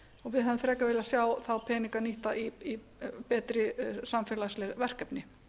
við hefðum frekar viljað sjá þá peninga nýtta í betri samfélagsleg verkefni